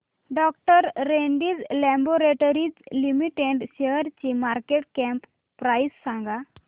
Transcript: डॉ Reddy's laboratories limited शेअरची market cap price सांगा